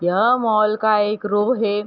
यह मॉल का एक रो है।